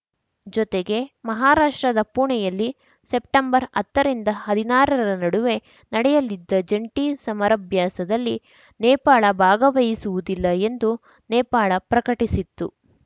ಜೊತೆಗೆ ಮಹಾರಾಷ್ಟ್ರದ ಪುಣೆಯಲ್ಲಿ ಸೆಪ್ಟೆಂಬರ್ಹತ್ತ ರಿಂದ ಹದಿನಾರರ ನಡುವೆ ನಡೆಯಲಿದ್ದ ಜಂಟಿ ಸಮರಭ್ಯಾಸದಲ್ಲಿ ನೇಪಾಳ ಭಾಗವಹಿಸುವುದಿಲ್ಲ ಎಂದು ನೇಪಾಳ ಪ್ರಕಟಿಸಿತ್ತು